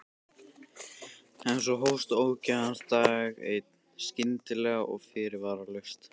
En svo hófst ógæfa hans dag einn, skyndilega og fyrirvaralaust.